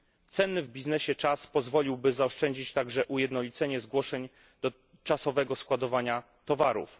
Cenny w biznesie czas pozwoliłoby także zaoszczędzić ujednolicenie zgłoszeń do czasowego składowania towarów.